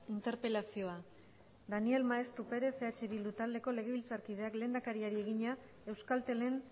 interpelazioa daniel maeztu perez eh bildu taldeko legebiltzarkideak lehendakariari egina euskaltelen